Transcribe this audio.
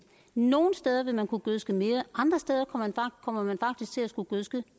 nogle steder vil man kunne gødske mere andre steder kommer man faktisk til at skulle gødske